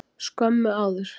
Skömmu áður.